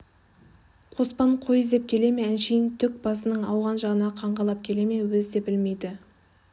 қоспан қой іздеп келе ме әншейін төк басының ауған жағына қаңғалап келе ме өзі де білмейді